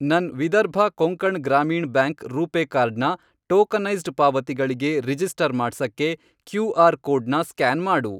ನನ್ Vidarbha Konkan Gramin bank RuPay card ನ tokenised ಪಾವತಿಗಳಿಗೆ ರಿಜಿಸ್ಟರ್ ಮಾಡ್ಸಕ್ಕೆ ಕ್ಯೂ.ಆರ್. ಕೋಡ್ನ ಸ್ಕ್ಯಾನ್ ಮಾಡು.